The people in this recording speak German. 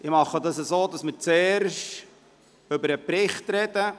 Wir machen es so, dass wir zuerst über den Bericht sprechen.